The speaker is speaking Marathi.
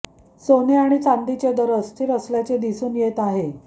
सोने आणि चांदीचे दर अस्थिर असल्याचे दिसून येत आहे